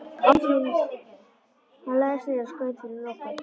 Hann lagðist niður og skaut fyrir loku.